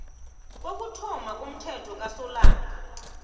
kokuthoma komthelo kasolanga